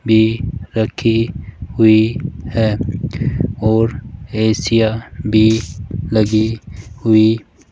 भी रखी हुई है और ए_सी या भी लगी हुई --